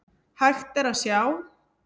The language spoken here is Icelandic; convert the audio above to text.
Hægt er að sjá